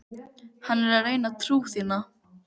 Hann er að reyna trú þína.